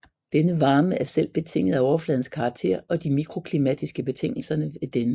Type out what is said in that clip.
Denne varme er selv betinget af overfladens karakter og de mikroklimatiske betingelser ved denne